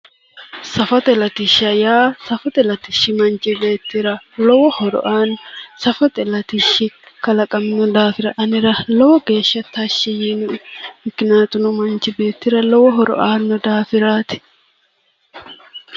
Safote latisha yaa safote latishi manchi beettira lowo horo aanno safote latishi kalaqamino daafira anera lowo geesha tashi yiino'e mikinaatuno manchi beettira lowo horo aanno daafiraati